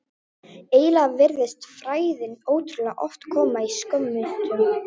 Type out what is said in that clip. Eiginlega virtist frægðin ótrúlega oft koma í skömmtum.